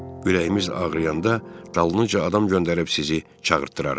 Ürəyimiz ağrıyanda dalınca adam göndərib sizi çağırtdırarıq.